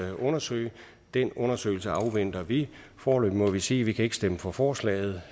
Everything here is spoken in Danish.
at undersøge den undersøgelse afventer vi foreløbig må vi sige vi kan stemme for forslaget